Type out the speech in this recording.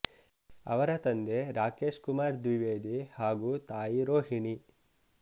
ಅವರ ತಂದೆ ರಾಕೇಶ್ ಕುಮಾರ್ ದ್ವಿವೇದಿ ಹಾಗೂ ತಾಯಿ ರೋಹಿಣಿ